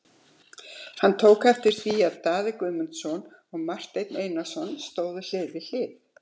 Hann tók eftir því að Daði Guðmundsson og Marteinn Einarsson stóðu hlið við hlið.